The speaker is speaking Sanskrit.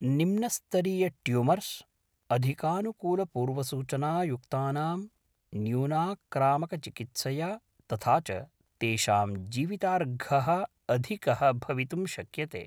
निम्नस्तरीयट्यूमर्स्, अधिकानुकूलपूर्वसूचनायुक्तानां, न्यूनाक्रामकचिकित्सया, तथा च तेषां जीवितार्घः अधिकः भवितुं शक्यते।